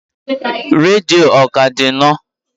redio ọ ka di nọ?